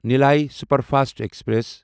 Nellai superfast express